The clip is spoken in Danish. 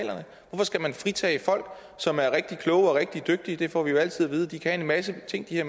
skal man fritage folk som er rigtig kloge og rigtig dygtige det får vi jo altid at vide de kan en masse ting de har